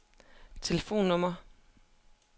telefonnummer